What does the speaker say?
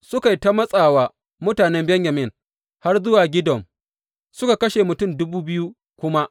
Suka yi ta matsa wa mutanen Benyamin har zuwa Gidom suka kashe mutum dubu biyu kuma.